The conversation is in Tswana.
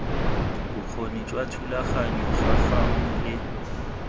bokgoni jwa thulaganyo gangwe le